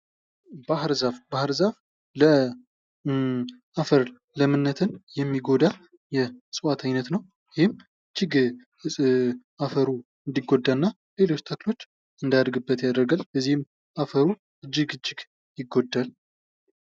ባህር ዛፍ፦ ባህር ዛፍ ለአፈር ለምነትን የሚጎዳ የእጽዋት አይነት ነው። ይህም እጅግ አፈሩ እንድጎዳ እና ሌሎች ተክሎች እንዳያድግበት ያርጋል። የዚህም አፈሩ እጅግ እጅግ ይጎዳል።